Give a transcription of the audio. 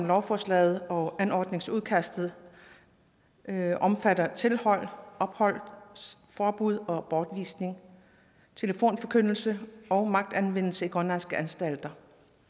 lovforslaget og anordningsudkastet omfatter tilhold ophold forbud og bortvisning telefonforkyndelse og magtanvendelse i grønlandske anstalter